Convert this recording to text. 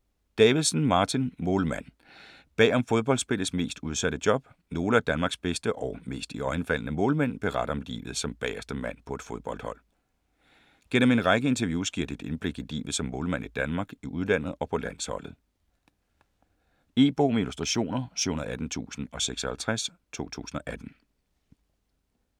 Davidsen, Martin: Målmand: bag om fodboldspillets mest udsatte job Nogle af Danmarks bedste og mest iøjnefaldende målmænd beretter om livet som bagerste mand på et fodboldhold. Gennem en række interviews giver de et indblik i livet som målmand i Danmark, i udlandet og på landsholdet. E-bog med illustrationer 718056 2018.